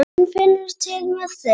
Hún finnur til með þeim.